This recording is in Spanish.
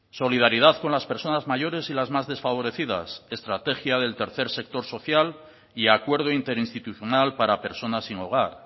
solidaridad con las personas mayores y las más desfavorecidas estrategia del tercer sector social y acuerdo interinstitucional para personas sin hogar